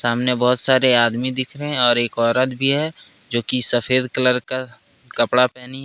सामने बहुत सारे आदमी दिख रहे है और एक औरत भी है जो कि सफेद कलर का कपड़ा पहनी है।